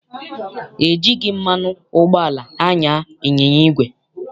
E jighị mmanụ ụgbọala anya ịnyịnya igwe.